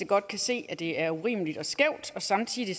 godt kan se at det er urimeligt og skævt og samtidig